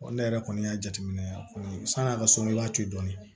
ne yɛrɛ kɔni y'a jateminɛ yan kɔni san'a ka so n'i y'a to yen dɔɔni